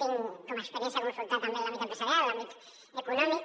tinc com a experiència consultat també empresarial l’àmbit econòmic